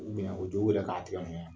o jɔ b'u yɛ ka tigɛ mun yɛ